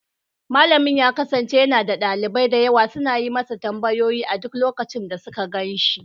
Malamin ya kasance yana da dalibai da yawa suna yi masa tambayoyi a duk lokacin da suka gan shi.